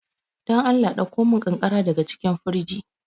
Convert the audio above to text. Dan Allah ɗakkomin ƙanƙara daga cikin firji.